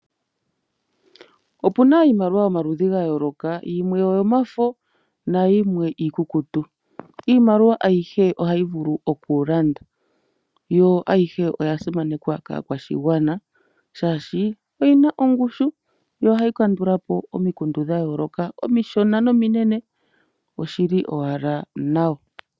Opuna iimaliwa yomaludhi gayooloka yimwe oyo mafo nayimwe iikukutu, iimaliwa ayihe ohayi vulu okulanda , yo ayihe oya simaneka kaakwashigwana shaashi oyina ongushu, yo ohayi kandulapo omikundu dhayoloka omishona nominene oshili owala nawa.